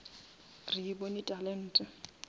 re e bone talente